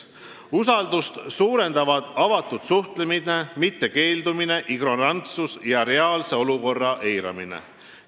Usaldust suurendab avatud suhtlemine, mitte keeldumine, ignorantsus ja reaalse olukorra eiramine.